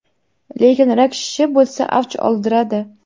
lekin rak shishi bo‘lsa avj oldiradi.